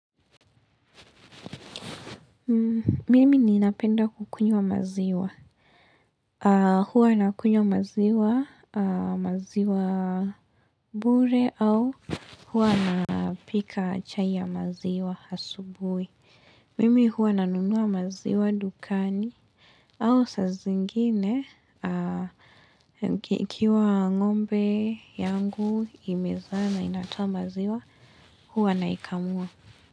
Mimi ninapenda kukunywa maziwa, aah Huwa na kunywa maziwa, ahh maziwa bure au huwa na pika chai ya maziwa asubuhi. Mimi huwa na nunua maziwa dukani au saa zingine ahh, Ikiwa ngombe yangu imezaa na inatoa maziwa huwa naikamua.